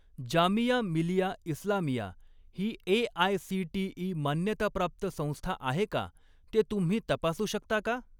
जामिया मिलिया इस्लामिया ही ए.आय.सी.टी.ई. मान्यताप्राप्त संस्था आहे का ते तुम्ही तपासू शकता का?